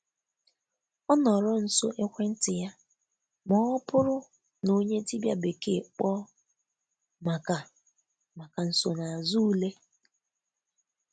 Ọ nọrọ nso ekwentị ya ma ọ bụrụ na onye dibịa bekee kpọọ maka maka nsonaazụ ule.